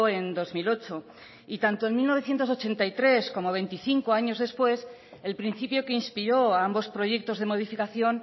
en dos mil ocho y tanto en mil novecientos ochenta y tres como veinticinco años después el principio que inspiró a ambos proyectos de modificación